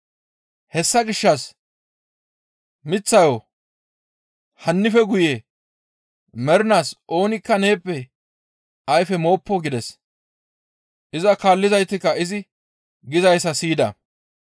Hessa gishshas miththayo, «Hannife guye mernaas oonikka neeppe ayfe mooppo!» gides. Iza kaallizaytikka izi gizayssa siyida.